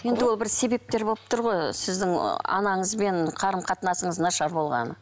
енді ол бір себептер болып тұр ғой сіздің ы анаңызбен қарым қатынасыңыз нашар болғаны